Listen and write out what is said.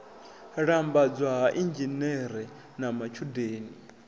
lambedzwa ha inzhinere na matshudeni